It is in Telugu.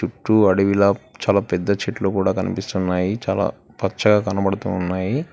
చుట్టూ అడవిలా చాలా పెద్ద చెట్లు కూడా కనిపిస్తున్నాయి చాలా పచ్చగా కనపడుతూ ఉన్నాయి.